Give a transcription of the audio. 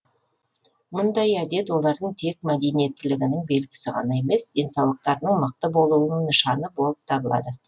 мұндай әдет олардың тек мәдениеттілігінің белгісі ғана емес денсаулықтарының мықты болуының нышаны болып табылады